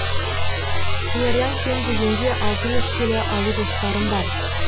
қиярдан кем дегенде алты жүз келі алу жоспарым бар